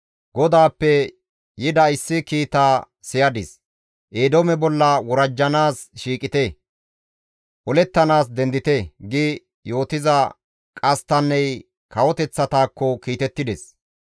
GODAAPPE yida issi kiita siyadis; «Eedoome bolla worajjanaas shiiqite; olettanaas dendite!» gi yootiza qasttanney kawoteththatakko kiitettides.